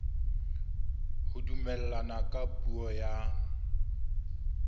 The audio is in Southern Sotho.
ho dumellana ka puo ya